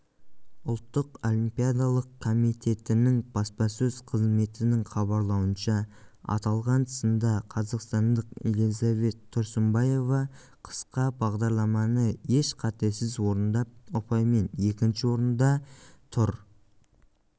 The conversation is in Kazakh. ұлттық олимпиадалық комитетінің баспасөз қызметінің хабарлауынша аталған сында қазақстандық элизабет тұрсынбаева қысқа бағдарламаны еш қатесіз орындап ұпаймен екінші орында тұр